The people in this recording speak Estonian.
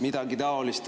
Midagi taolist.